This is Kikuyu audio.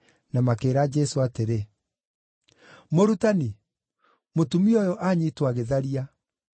na makĩĩra Jesũ atĩrĩ, “Mũrutani, mũtumia ũyũ aanyiitwo agĩtharia.